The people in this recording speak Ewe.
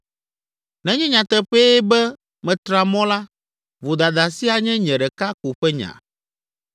Nenye nyateƒee be metra mɔ la, vodada sia nye nye ɖeka ko ƒe nya.